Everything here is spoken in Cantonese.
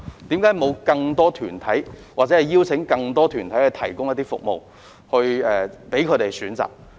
為何沒有邀請更多團體提供服務以供選擇？